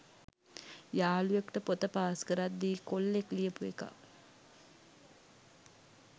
යාළුවෙක්ට පොත පාස් කරද්දි කොල්ලෙක් ලියපු එකක්